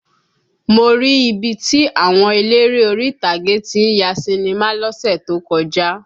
Mo rí ibi tí àwọn eléré orí ìtàgé tí ń ya sinimá lọ́sẹ̀ tó kọjá